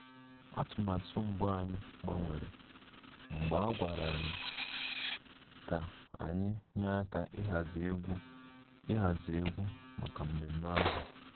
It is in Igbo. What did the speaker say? Atụmatụ mbụ anyị gbanwere mgbe a gwara anyị ka anyị nyere aka ịhazi egwu ịhazi egwu maka mmemme ahụ